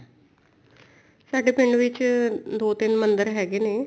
ਸਾਡੇ ਪਿੰਡ ਵਿੱਚ ਦੋ ਤਿੰਨ ਮੰਦਰ ਹੈਗੇ ਨੇ